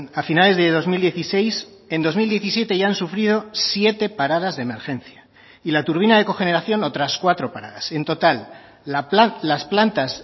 a finales de dos mil dieciséis en dos mil diecisiete ya han sufrido siete paradas de emergencia y la turbina de cogeneración otras cuatro paradas en total las plantas